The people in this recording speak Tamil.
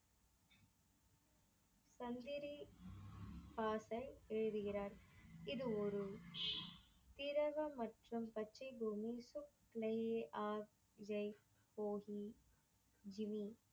எழுதுகிறார். இது ஒரு திரவ மற்றும் பச்சை பூமி துக்லையே அ ஜெய் போகி ஜிம்மி